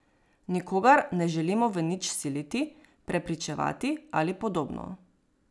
Nikogar ne želimo v nič siliti, prepričevati ali podobno.